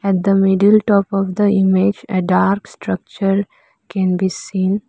at the middle top of the image a dark structure can be seen.